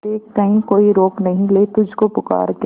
देख कहीं कोई रोक नहीं ले तुझको पुकार के